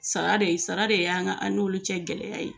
Sara de sara de y'an n'olu cɛ gɛlɛya ye.